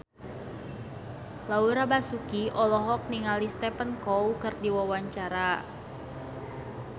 Laura Basuki olohok ningali Stephen Chow keur diwawancara